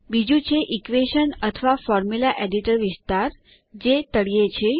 બીજું છે ઇક્વેશન અથવા ફોર્મ્યુલા એડિટર વિસ્તાર જે તળિયે છે